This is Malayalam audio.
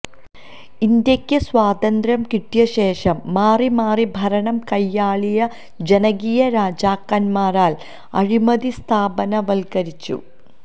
ഇന്ത്യക്ക് സ്വാതന്ത്ര്യം കിട്ടിയശേഷം മാറിമാറി ഭരണം കയ്യാളിയ ജനകീയ രാജാക്കന്മാരാല് അഴിമതി സ്ഥാപനവല്ക്കരിച്ചു